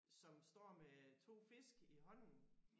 Som står med 2 fisk i hånden